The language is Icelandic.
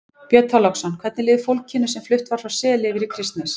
Björn Þorláksson: Hvernig líður fólkinu sem flutt var frá Seli yfir í Kristnes?